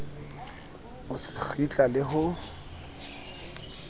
o se kgitla le ho